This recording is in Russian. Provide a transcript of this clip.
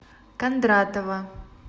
кондратова